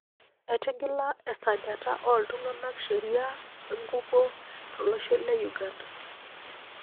Etigila esajata ooltung'ana sheria enkukuo tolosho le Uganda.